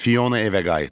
Fiona evə qayıtdı.